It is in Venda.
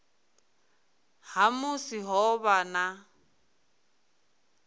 ha musi ho vha na